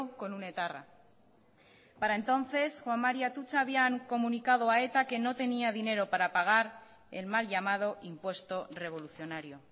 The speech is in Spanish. con un etarra para entonces juan mari atutxa había comunicado a eta que no tenía dinero para pagar el mal llamado impuesto revolucionario